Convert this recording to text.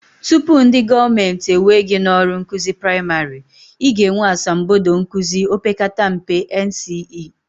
Tupu ndị gọọmenti ewee gị n'ọrụ nkụzi praịmarị, I ga-enwe asambodo nkụzi opekata mpe, NCE